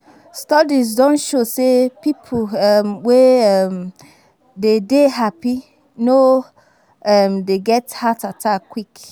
Studies don show sey pipo um wey um de dey happy no um dey get heart attack quick